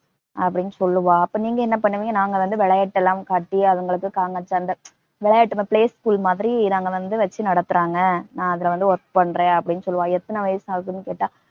அப்படின்னு சொல்லுவா. அப்ப நீங்க என்ன பண்ணுவிங்க, நாங்கவந்து விளையாட்டலாம் காட்டி, அதுங்களுக்கு க ங ச இந்த, விளையாட்டு மா~ playschool மாதிரி நாங்கவந்து வச்சு நடத்துறாங்க, நான் அதுலவந்து work பண்றேன் அப்படின்னு சொல்லுவா. எத்தன வயசு ஆகுதுன்னு கேட்டா